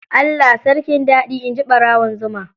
Allah sarkin dadi, inji barawon zuma.